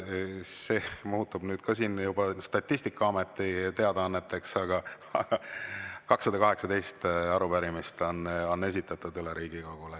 Need muutuvad nüüd juba Statistikaameti teadaanneteks, aga 218 arupärimist on esitatud Riigikogule.